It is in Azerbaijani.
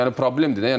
Yəni problemdir də.